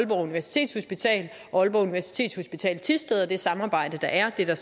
aalborg universitetshospital thisted og det samarbejde der er er der